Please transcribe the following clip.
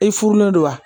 I furulen don wa